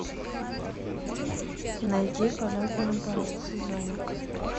найди полет наоборот созоник